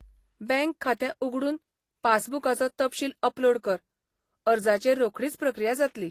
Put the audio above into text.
Bank खातें उगडून पासबुकाचो तपशील अपलोड कर, अर्जाचेर रोखडीच प्रक्रिया जातली.